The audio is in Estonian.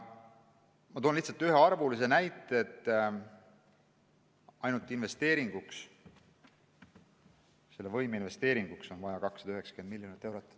Aga ma toon lihtsalt ühe arvulise näite: ainult selle võime investeeringuks on vaja 290 miljonit eurot.